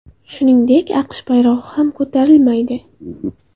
Shuningdek, AQSh bayrog‘i ham ko‘tarilmaydi.